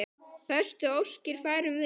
Bestu óskir færum við.